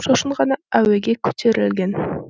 сосын ғана әуеге көтерілген